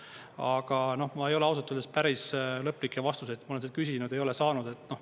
Aga ma ei ole ausalt öeldes päris lõplikke vastuseid, ma olen seda küsinud, ei ole saanud.